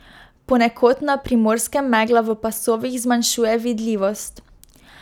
Ponekod na Primorskem megla v pasovih zmanjšuje vidljivost.